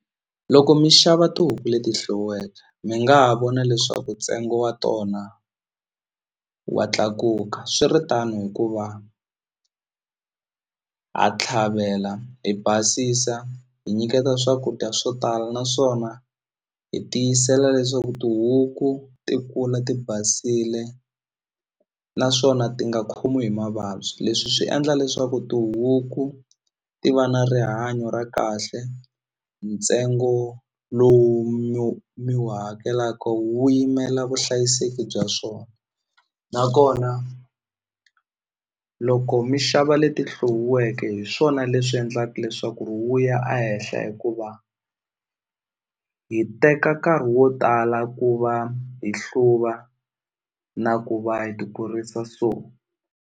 Loko mi xava tihuku leti hluviweke mi nga ha vona leswaku ntsengo wa tona wa tlakuka swiritano hikuva ha tlhavela hi basisa hi nyiketa swakudya swo tala naswona hi tiyisela leswaku tihuku ti kula ti basile naswona ti nga khomiwi hi mavabyi leswi swi endla leswaku tihuku ti va na rihanyo ra kahle ntsengo lowu mi wu mi wu hakelaka wu yimela vuhlayiseki bya swona nakona loko mi xava leti hluviweke hi swona swona leswi endlaka leswaku ri wu ya a henhla hikuva hi teka nkarhi wo tala ku va hi hluva na ku va hi ti kurisa so.